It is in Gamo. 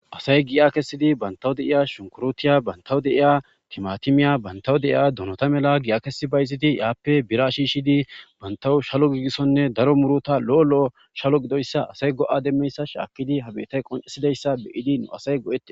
Asay gi'a kessidi bantawu deiya shunkurutiya bantawu deiya timatimiya bantawu deiya dunota mela gi'a kesi bayziti yaappe bira shishidi bantawu shalo giigissonne daro murota lo'o lo'o shalo gidoyssa asay go'a demmeyssa shaakidi habetay qoncesidayssa beyidi nu asay go'ete.